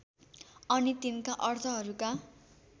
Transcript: अनि तिनका अर्थहरूका